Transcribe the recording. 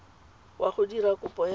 wa go dira kopo ya